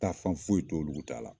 Taafan foyi t'olu ta la.